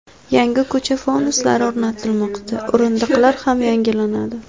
Yangi ko‘cha fonuslari o‘rnatilmoqda, o‘rindiqlar ham yangilanadi.